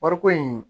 Wariko in